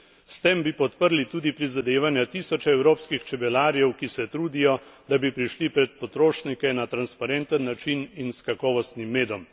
S tem bi podprli tudi prizadevanja tisočev evropskih čebelarjev, ki se trudijo, da bi prišli pred potrošnike na transparenten način in s kakovostnim medom.